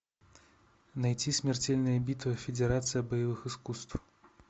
найти смертельная битва федерация боевых искусств